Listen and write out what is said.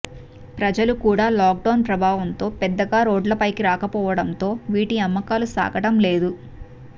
ప్రజలు కూడా లాక్డౌన్ ప్రభావంతో పెద్దగా రోడ్లపైకి రాకపోవడంతో వీటి అమ్మకాలు సాగడం లేదు